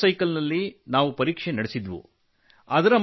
motor cycle ನಲ್ಲಿ ನಾವು ಪರೀಕ್ಷೆ ನಡೆಸಿದ್ದೆವು